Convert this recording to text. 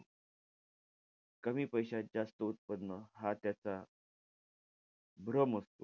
कमी पैशात जास्त उत्पन्न हा त्याचा भ्रम असतो.